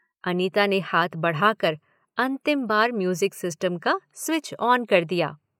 अनिता ने हाथ बढ़ाकर अंतिम बार म्यूज़िक सिस्टम का स्विच ऑन कर दिया।